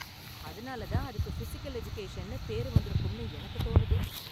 அதனால தான் அதுக்கு ஃபிசிகல் எஜுகேஷன்னு பேரு வந்திருக்கும்னு எனக்கு தோணுது.